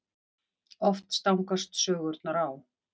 Oft stangast sögurnar á.